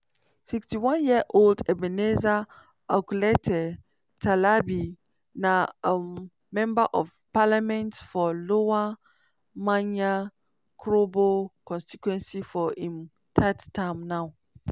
61 year old ebenezer okletey terlabi na um member of parliament for lower manya krobo constituency for im third term now.